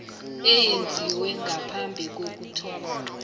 eyenziwe ngaphambi kokuthoma